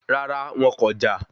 Rárá, wọn kọjá